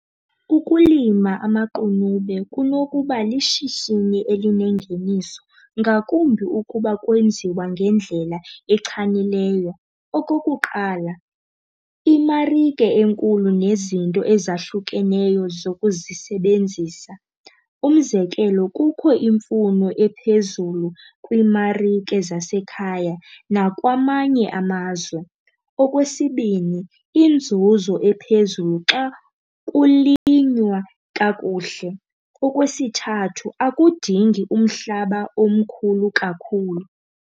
Ukulima amaqunube kunokuba lishishini elinengeniso, ngakumbi ukuba kwenziwa ngendlela echanileyo. Okokuqala, imarike enkulu nezinto ezahlukeneyo zokuzisebenzisa. Umzekelo, kukho imfuno ephezulu kwiimarike zasekhaya nakwamanye amazwe. Okwesibini, inzuzo ephezulu xa kulinywa kakuhle. Okwesithathu akudingi umhlaba omkhulu kakhulu.